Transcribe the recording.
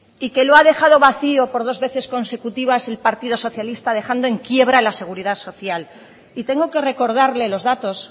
y que lo ha dejado vacío por dos veces consecutivas el partido socialista dejando en quiebra la seguridad social y tengo que recordarle los datos